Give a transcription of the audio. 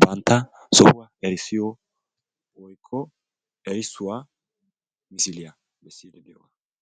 bantta sohuwa etti erisiyo misiliya.